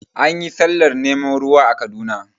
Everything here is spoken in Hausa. Anyi sallar neman ruwa a Kaduna